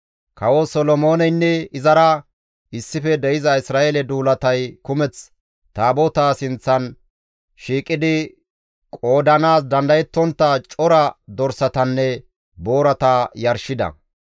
Kawo Solomooneynne izara issife de7iza Isra7eele duulatay kumeth Taabotaa sinththan shiiqidi qoodanaas dandayettontta cora dorsatanne boorata yarshida.